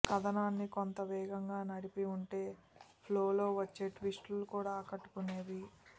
కథనాన్ని కొంత వేగంగా నడిపి ఉంటే ఫ్లో లో వచ్చే ట్విస్ట్ లు కూడా ఆకట్టుకునేవి